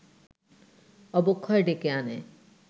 অবক্ষয় ডেকে আনে